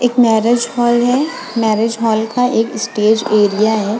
एक marriage hall है marriage hall का एक स्टेज एरिया है।